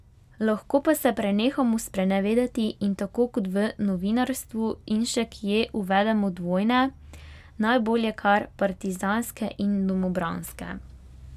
Lahko pa se prenehamo sprenevedati in tako kot v novinarstvu in še kje uvedemo dvojne, najbolje kar partizanske in domobranske.